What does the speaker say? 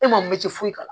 E ma min ti foyi k'a la